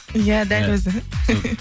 иә дәл өзі